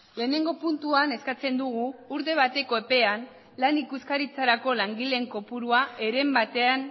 lehenengo puntuan eskatzen dugu urte bateko epean lan ikuskaritzarako langileen kopuruan heren batean